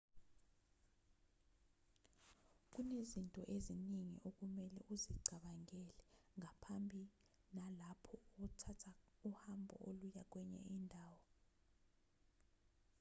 kunezinto eziningi okumelwe uzicabangele ngaphambi nalapho uthatha uhambo oluya kwenye indawo